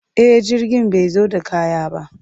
E, jirgin bai zo da kaya ba.